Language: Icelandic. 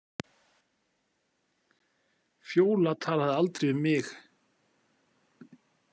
Fjóla talaði aldrei við mig.